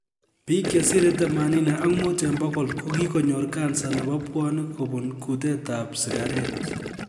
Biik chesire themanini ak muut en bogol kokikonyor kansa nebo bwonik kobun kutete ab sigaret